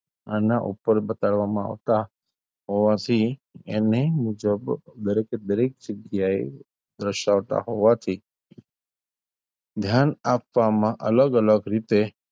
આના ઉપર આવતાં બતાડવામાં આવતાં હોવાથી એની મુજબ દરેક એ દરેક જગ્યા એ રસોટા હોવાથી ધ્યાન આપવામાં અલગ-અલગ રીતે,